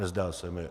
Nezdá se mi.